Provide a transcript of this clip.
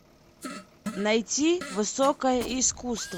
найти высокое искусство